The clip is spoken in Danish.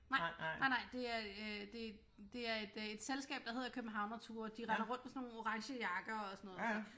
Nej nej nej det er øh det det er et øh selskab der hedder Københavnerture de render rundt med sådan nogle orange jakker og sådan noget